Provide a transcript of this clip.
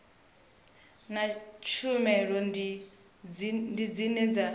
na tshumelo ndi dzine dza